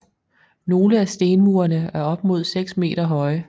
Nogle af stenmurene er op mod seks meter høje